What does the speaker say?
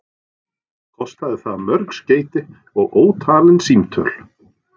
Kostaði það mörg skeyti og ótalin símtöl.